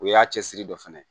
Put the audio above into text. O y'a cɛsiri dɔ fana ye